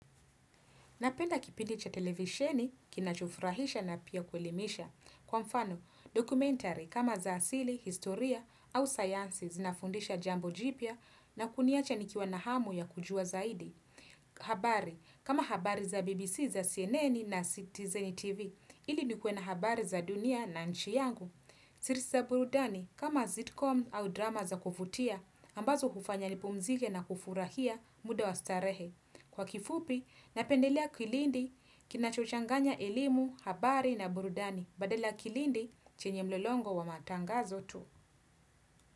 Napenda kipindi cha televisheni kinachufurahisha na pia kuelimisha. Kwa mfano, documentary kama za asili, historia au sciences zinafundisha jambo jipya na kuniacha nikiwa na hamu ya kujua zaidi. Habari kama habari za BBC za CNN na Citizen TV ili nikue na habari za dunia na nchi yangu. Sirisa burudani kama sitcom au drama za kuvutia ambazo hufanya nipumzike na kufurahia muda wa starehe. Kwa kifupi, napendelea kilindi kinachochanganya elimu, habari na burudani, badala kilindi chenye mlolongo wa matangazo tu.